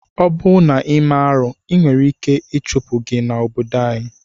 Obụ na ime arụ enwere ike ichụpụ gi na obodo gi.